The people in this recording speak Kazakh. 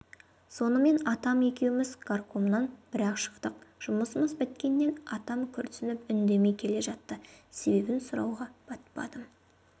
сонымен атам екеуіміз горкомнан бірақ шықтық жұмысымыз біткенмен атам күрсініп үндемей келе жатты себебін сұрауға батпадым